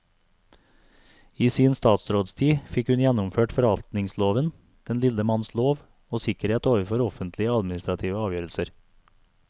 I sin statsrådstid fikk hun gjennomført forvaltningsloven, den lille manns lov og sikkerhet overfor offentlige administrative avgjørelser.